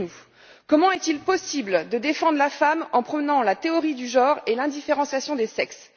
Expliquez nous comment est il possible de défendre la femme en prônant la théorie du genre et l'indifférenciation des sexes?